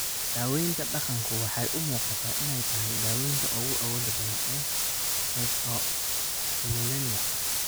Daawaynta dhaqanku waxay u muuqataa inay tahay daawaynta ugu awoodda badan ee trichotillomania.